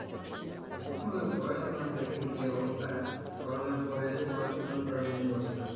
এখন আর পড়াশোনার দেখেন কি অবস্থা corona এর পর এসে পড়াশোনার উপর আর মনই বসে না